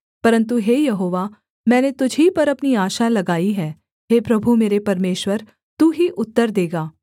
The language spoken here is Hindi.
परन्तु हे यहोवा मैंने तुझ ही पर अपनी आशा लगाई है हे प्रभु मेरे परमेश्वर तू ही उत्तर देगा